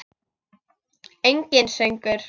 Enginn söngur.